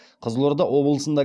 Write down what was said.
қызылорда облысында